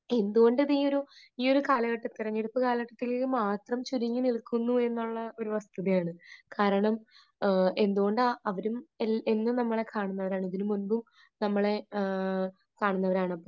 എന്തുകൊണ്ട് അത് ഈയൊരു ഈയൊരു കാലഘട്ടം, തെരഞ്ഞെടുപ്പ് കാലഘട്ടത്തിൽ മാത്രം ചുരുങ്ങി നിൽക്കുന്നു എന്നുള്ള ഒരു വസ്തുതയാണ്. കാരണം, എന്തുകൊണ്ടാ അവരും, എന്നും നമ്മളെ കാണുന്നവരാണ്. ഇതിനുമുൻപും നമ്മളെ കാണുന്നവരാണ്.